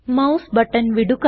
mouse button വിടുക